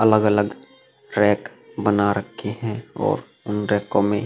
अलग अलग रैक बना रखे हैं और उन रैकों में --